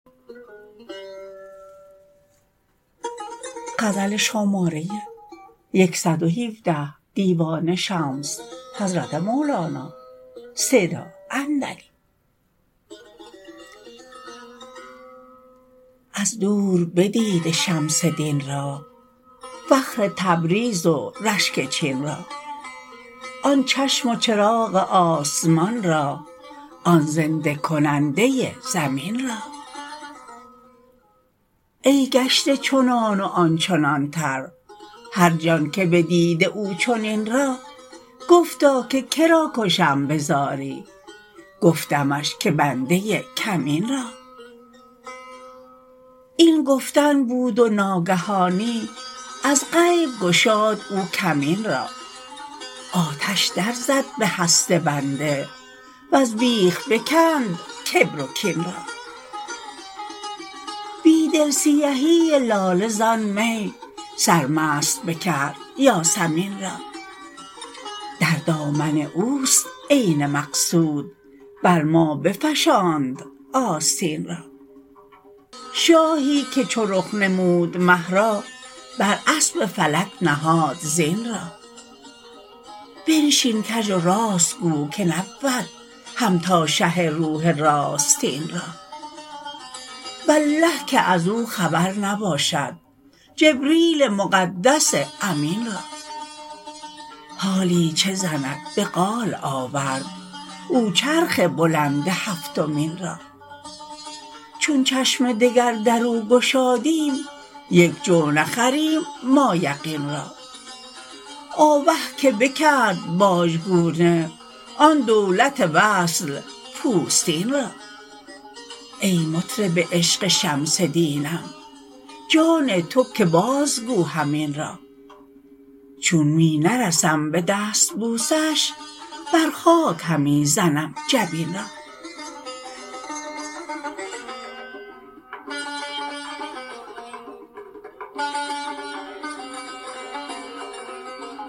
از دور بدیده شمس دین را فخر تبریز و رشک چین را آن چشم و چراغ آسمان را آن زنده کننده زمین را ای گشته چنان و آن چنانتر هر جان که بدیده او چنین را گفتا که که را کشم به زاری گفتمش که بنده کمین را این گفتن بود و ناگهانی از غیب گشاد او کمین را آتش درزد به هست بنده وز بیخ بکند کبر و کین را بی دل سیهی لاله زان می سرمست بکرد یاسمین را در دامن اوست عین مقصود بر ما بفشاند آستین را شاهی که چو رخ نمود مه را بر اسب فلک نهاد زین را بنشین کژ و راست گو که نبود همتا شه روح راستین را والله که از او خبر نباشد جبریل مقدس امین را حالی چه زند به قال آورد او چرخ بلند هفتمین را چون چشم دگر در او گشادیم یک جو نخریم ما یقین را آوه که بکرد بازگونه آن دولت وصل پوستین را ای مطرب عشق شمس دینم جان تو که بازگو همین را چون می نرسم به دستبوسش بر خاک همی زنم جبین را